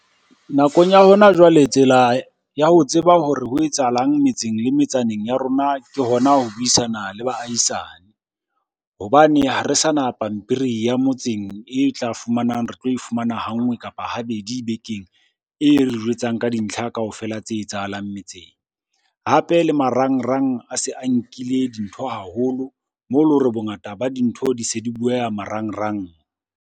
Nakong ya hona jwale tsela ya ho tseba hore ho etsahalang metseng le metsaneng ya rona ke hona ho buisana le baahisane. Hobane ha re sa na pampiri ya motseng e tla fumanang, re tlo e fumana ha nngwe kapa habedi bekeng. E re jwetsang ka dintlha kaofela tse etsahalang metseng. Hape le marangrang a se a nkile dintho haholo, moo leng hore bongata ba dintho di se di bueha marangrang.